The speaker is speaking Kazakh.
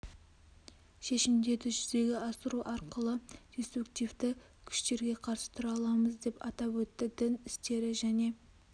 шешімдерді жүзеге асыру арқылы деструктивті күштерге қарсы тұра аламыз деп атап өтті дін істері және